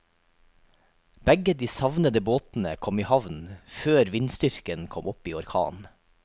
Begge de savnede båtene kom i havn før vindstyrken kom opp i orkan.